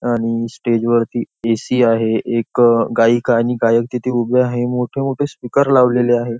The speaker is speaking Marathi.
आणि स्टेज वरती ए.सी. आहे एक गायिका आणि गायक तिथे उभे आहे मोठे मोठे स्पीकर लावलेले आहे.